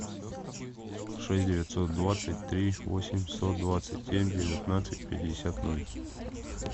шесть девятьсот двадцать три восемьсот двадцать семь девятнадцать пятьдесят ноль